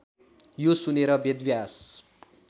यो सुनेर वेदव्यास